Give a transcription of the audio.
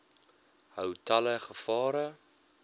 hou talle gevare